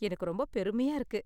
எனக்கு ரொம்ப பெருமையா இருக்கு.